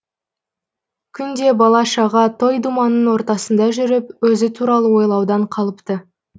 күнде бала шаға той думанның ортасында жүріп өзі туралы ойлаудан қалыпты